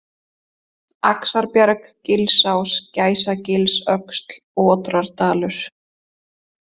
Axarbjarg, Gilsás, Gæsagilsöxl, Otrardalur